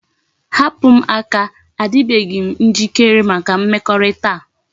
Hapu m aka! a dibeghi njikere maka mmekorita a